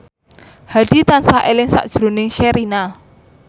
Hadi tansah eling sakjroning Sherina